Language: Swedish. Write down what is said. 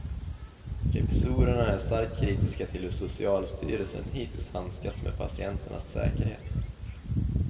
Revisorerna är starkt kritiska till hur socialstyrelsen hittills handskats med patienternas säkerhet.